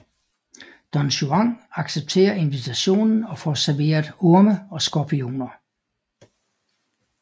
Don Juan accepterer invitationen og får serveret orme og skorpioner